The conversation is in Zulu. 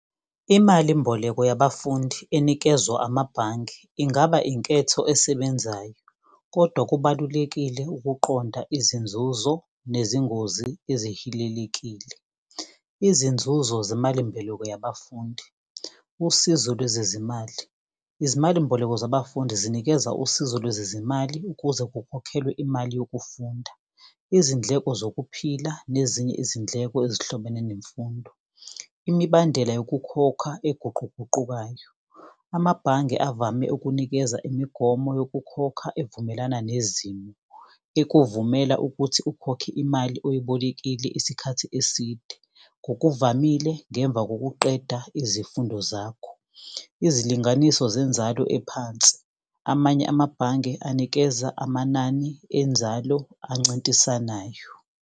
Imalimboleko yabafundi enikezwa amabhange ingaba inketho esebenzayo, kodwa kubalulekile ukuqonda izinzuzo nezingozi ezihilelekile. Izinzuzo zemalimbeleko yabafundi, usizo lwezezimali. Izimalimboleko zabafundi zinikeza usizo lwezezimali ukuze kukhokhelwe imali yokufunda, izindleko zokuphila, nezinye izindleko ezihlobene nemfundo. Imibandela yokukhokha eguquguqukayo. Amabhange avame ukunikeza imigomo yokukhokha evumelana nezimo, ekuvumela ukuthi ukhokhe imali oyibolekile isikhathi eside. Ngokuvamile ngemva kokuqeda izifundo zakho, izilinganiso zenzalo ephansi. Amanye amabhange anikeza amanani enzalo ancintisanayo.